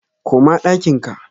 koma ɗakin ka!